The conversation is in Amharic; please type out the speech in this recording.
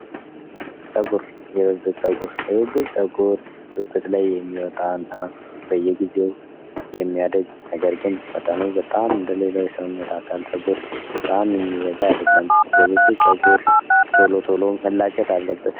ጸጉር የብብት ጸጉር የብብት ጸጉር ብብት ላይ የሚወጣና በየጊዜው የሚያረጅ ነገር ግን መጠኑ በጣም እንደሌላው የሰውነት አካል ጸጉር በጣም የሚበዛ አይደለም የብብት ጸጉር ቶሎ ቶሎ መላጨት አለበት።